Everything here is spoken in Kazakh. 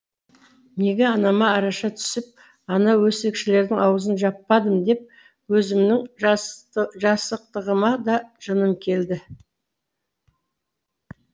неге анама араша түсіп анау өсекшілердің аузын жаппадым деп өзімнің жасықтығыма да жыным келді